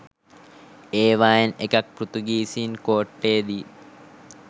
ඒවායින් එකක් පෘතුගීසීන් කෝට්ටේ දී